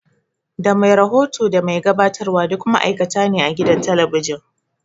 Da mai rahoto da mai gabatarwa duk ma'aikata ne a gidan talabijin